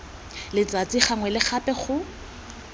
letsatsi gangwe le gape go